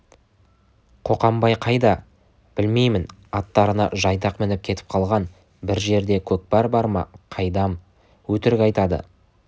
қоқанбай қайда білмеймін аттарына жайдақ мініп кетіп қалған бір жерде көкпар бар ма қайдам өтірік айтады